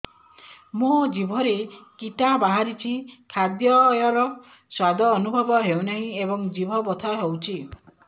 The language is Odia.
ମୋ ଜିଭରେ କିଟା ବାହାରିଛି ଖାଦ୍ଯୟରେ ସ୍ୱାଦ ଅନୁଭବ ହଉନାହିଁ ଏବଂ ଜିଭ ବଥା ହଉଛି